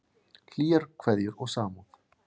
Hlýjar kveðjur og samúð.